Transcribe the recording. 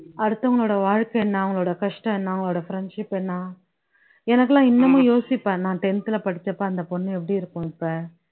அடுத்தவங்களோட வாழ்க்கை என்ன, அவங்களோட கஷ்டம் என்ன அவங்களோட friendship என்ன. எனக்குல்லாம் இன்னமும் யோசிப்பேன் நான் tenth ல படிச்சப்போ அந்த பொண்ணு எப்படி இருக்கும் இப்போ